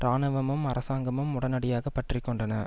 இராணுவமும் அரசாங்கமும் உடனடியாக பற்றிக்கொண்டன